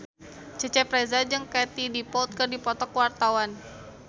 Cecep Reza jeung Katie Dippold keur dipoto ku wartawan